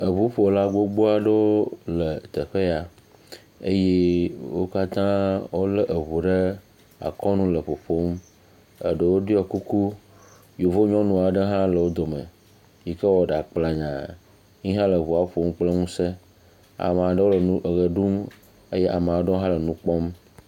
Eŋuƒola gbogbo aɖewo le afima eye wo kata wo le eŋu ɖe akɔ nu le ƒoƒom. Eɖewo ɖɔe kuku yevu nyɔnu aɖe ha le wodo me, yike wɔ ɖa kplanya, ye hã le eŋua ƒom kple ŋuse. Ame aɖewo le eʋɛ ɖum eye ame aɖewo hã le nu kpɔm.